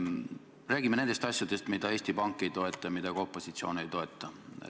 Räägime nendest asjadest, mida Eesti Pank ei toeta ja mida ka opositsioon ei toeta.